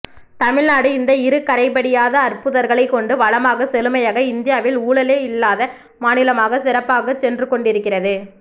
தமிழ்நாடு இந்த இரு கரைபடியாத அற்புதர்களைக் கொண்டு வளமாக செழுமையாக இந்தியாவில் ஊழலே இல்லாத மாநிலமாக சிறப்பாக சென்றுகொண்டிருக்கிறது